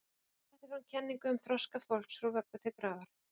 Hann setti fram kenningu um þroska fólks frá vöggu til grafar.